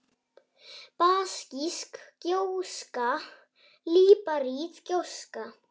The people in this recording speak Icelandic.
basísk gjóska líparít gjóska